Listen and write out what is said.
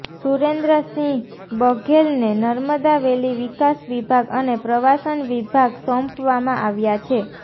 સુરેન્દ્ર સિંહ બઘેલને નર્મદા વેલી વિકાસ વિભાગ અને પ્રવાસન વિભાગ સોંપવામાં આવ્યા છે